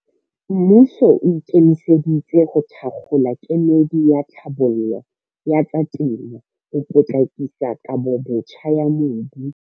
Mmuso o ikemiseditse ho thakgola kemedi ya tlhabollo ya tsa temo ho potlakisa kabobotjha ya mobu.